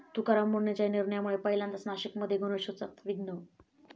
तुकाराम मुंढेंच्या 'या' निर्णयामुळे पहिल्यांदाच नाशिकमध्ये गणेशोत्सवात विघ्न!